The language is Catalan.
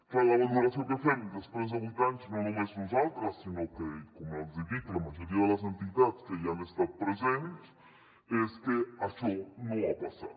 clar la valoració que fem després de vuit anys no només nosaltres sinó com els hi dic la majoria de les entitats que hi han estat presents és que això no ha passat